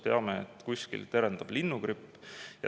Teame, et kuskil terendab linnugripp.